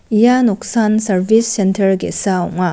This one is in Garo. ia noksaan sarbis sentar ge·sa ong·a.